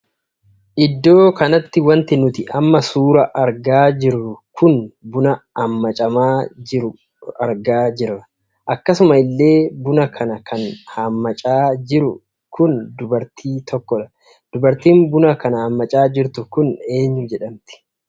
Iddoo kanatti wanti nuti amma suuraa argaa jirru kun buna ammacamaa jiru argaa jirra. akkasuma illee buna kana kan hammacaa jiru kun dubartii tokkoodha. dubartii buna kan hammacaa jirtu kun eenyuu jedhamti?